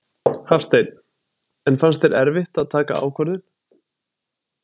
Hafsteinn: En fannst þér erfitt að taka ákvörðun?